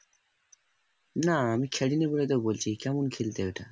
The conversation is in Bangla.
না আমি খেলিনি বলেই তো বলছি কেমন খেলতে ওটা